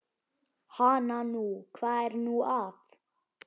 Hana nú, hvað er nú að.